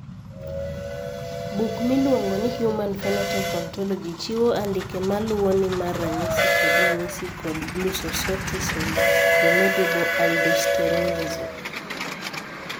Buk miluongo ni Human Phenotype Ontology chiwo andike ma luwoni mar ranyisi kod ranyisi mag Glucocorticoid remediable aldosteronism.